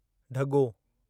ढॻो